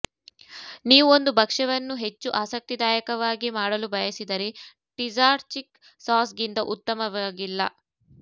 ನೀವು ಒಂದು ಭಕ್ಷ್ಯವನ್ನು ಹೆಚ್ಚು ಆಸಕ್ತಿದಾಯಕವಾಗಿ ಮಾಡಲು ಬಯಸಿದರೆ ಟಿಜಾಟ್ಜಿಕ್ ಸಾಸ್ಗಿಂತ ಉತ್ತಮವಾಗಿಲ್ಲ